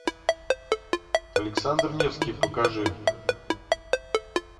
александр невский покажи